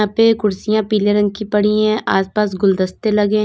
पे कुर्सियां पीले रंग की पड़ी है आसपास गुलदस्ते लगे हैं।